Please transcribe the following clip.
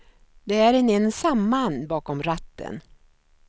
Det är en ensam man bakom ratten.